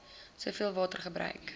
soveel water gebruik